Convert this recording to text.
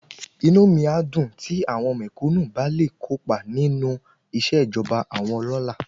Inú mi á dùn tí àwọn mẹ̀kúnù bá le kópa nínú ìṣẹ̀jọba àwọn ọlọ́lá